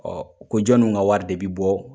O ko jɔnn'u ka wari de bɛ bɔ?